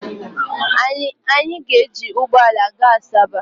Anyị ga-eji ụgbọala gaa Asaba.